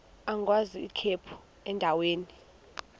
agwaz ikhephu endaweni